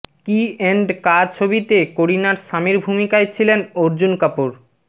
কি এন্ড কা ছবিতে করিনার স্বামীর ভূমিকায় ছিলেন অর্জুন কাপুর